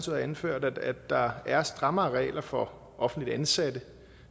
har anført at der er strammere regler for offentligt ansatte